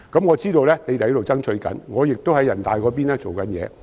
我知道當局正在爭取，我也會在人大層面多做工夫。